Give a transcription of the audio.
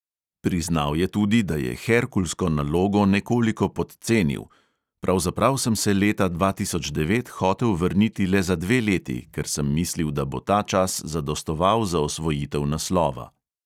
Priznal je tudi, da je herkulsko nalogo nekoliko podcenil: "pravzaprav sem se leta dva tisoč devet hotel vrniti le za dve leti, ker sem mislil, da bo ta čas zadostoval za osvojitev naslova."